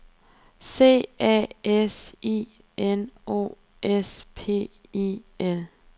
C A S I N O S P I L